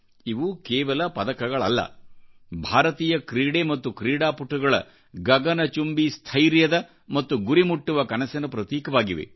ಇವು ಕೇವಲ ಪದಕಗಳಲ್ಲ ಭಾರತೀಯ ಕ್ರೀಡೆ ಮತ್ತು ಕ್ರೀಡಾಪಟುಗಳ ಗಗನ ಚುಂಬಿ ಸ್ಥೈರ್ಯದ ಮತ್ತು ಗುರಿಮುಟ್ಟುವ ಕನಸಿನ ಪ್ರತೀಕವಾಗಿವೆ